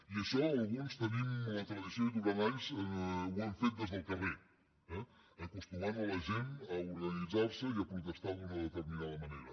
i això alguns tenim la tradició i durant anys ho hem fet des del carrer eh acostumant la gent a organitzar se i a protestar d’una determinada manera